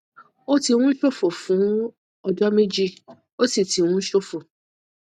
ó ti ń ṣòfò fún ọjọ méjì ó sì ti ń ṣòfò